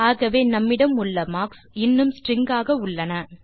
ஆகவே நம்மிடம் உள்ள மார்க் கள் இன்னும் ஸ்ட்ரிங்ஸ் ஆக உள்ளன